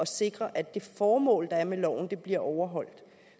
sikre at det formål der er med loven bliver overholdt